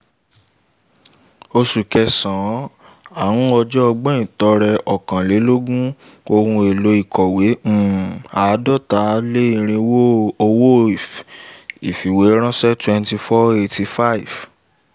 oṣù kẹsàn-án ọjọ́ ọgbọ̀n ìtọrẹ okanlelogorun ohun èlò ìkọ̀wé um àádọ́ta lé irínwó owó ìfìwéránṣẹ́ two thousand four hundred eighty five